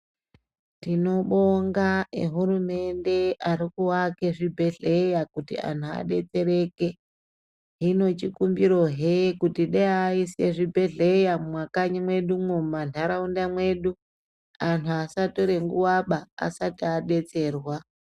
Tinobonga e hurumende ari ku ake zvibhedhleya kuti anhu adetsereke hino chikumbiro hee kuti dai aise zvibhedhleya mwu mwakanyi mwedumwo mu mandaraunda mwedu anhu asatore nguva ba asati adetserwa.